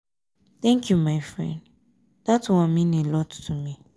thank you my friend dat mean a lot to me.